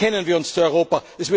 Bekennen wir uns zu Europa!